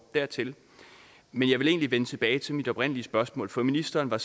dertil men jeg vil egentlig vende tilbage til mit oprindelige spørgsmål for ministeren var